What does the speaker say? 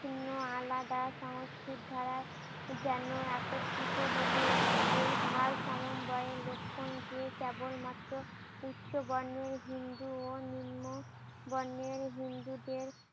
ভিন্ন আলাদা সংস্কৃত ধারায় যেন একত্রীত হলো। এই ভার সমবায়ের লক্ষণ যে কেবল মাত্র উচ্চ বর্ণের হিন্দু ও নিম্ন বর্ণের হিন্দুদের